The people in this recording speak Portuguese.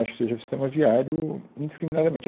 Acho que seja o sistema viário indiscriminadamente.